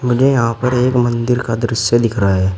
ये यहां पर एक मंदिर का दृश्य दिख रहा है।